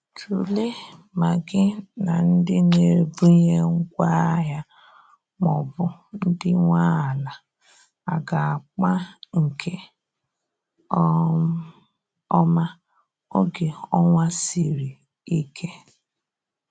Tụlee ma gi na ndi n'ebunye ngwa ahia maọbụ ndi nwe ala aga akpa nke um oma oge ọnwa sịrị ike